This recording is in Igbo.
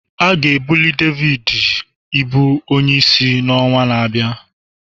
A ga-ebuli David ịbụ onyeisi n'ọnwa na-abịa